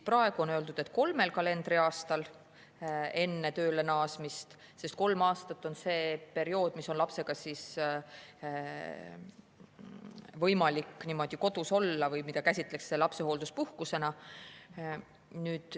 Praegu on öeldud, et kolmel kalendriaastal enne tööle naasmist, sest kolm aastat on see periood, mida käsitletakse lapsehoolduspuhkusena.